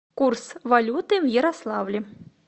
курс валюты в ярославле